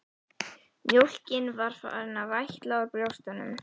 Mjólkin farin að vætla úr brjóstunum.